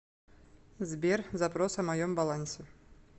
сбер запрос о моем балансе